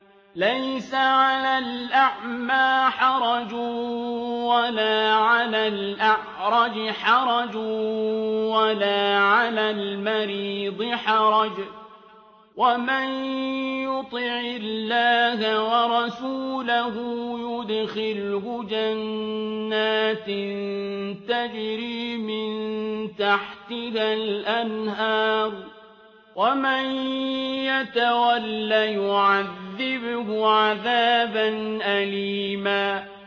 لَّيْسَ عَلَى الْأَعْمَىٰ حَرَجٌ وَلَا عَلَى الْأَعْرَجِ حَرَجٌ وَلَا عَلَى الْمَرِيضِ حَرَجٌ ۗ وَمَن يُطِعِ اللَّهَ وَرَسُولَهُ يُدْخِلْهُ جَنَّاتٍ تَجْرِي مِن تَحْتِهَا الْأَنْهَارُ ۖ وَمَن يَتَوَلَّ يُعَذِّبْهُ عَذَابًا أَلِيمًا